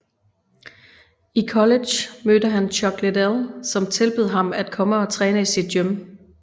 I college mødte han Chuck Liddell som tilbød ham at komme og træne i sit gym